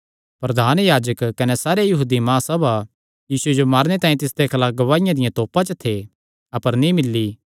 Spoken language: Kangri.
प्रधान याजक कने सारी महासभा यीशुये जो मारने तांई तिसदे खलाफ गवाहिया दिया तोपा च थे अपर नीं मिल्ली